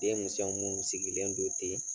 Denmisɛn minnu sigilen don ten